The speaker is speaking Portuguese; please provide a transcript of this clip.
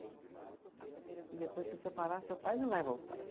E depois, se você parar, seu pai não vai voltar.